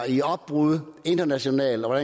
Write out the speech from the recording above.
i opbrud internationalt og